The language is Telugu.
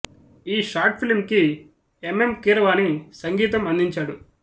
ఈ షార్ట్ ఫిల్మ్ కి ఎం ఎం కీరవాణి సంగీతం అందించాడు